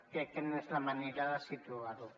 crec que no és la manera de situar ho